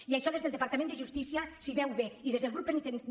i això des el departament de justícia es veu bé i des del grup penitenciari